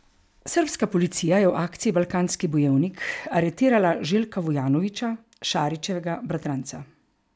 Srbska policija je v akciji Balkanski bojevnik aretirala Želja Vujanovića, Šarićevega bratranca.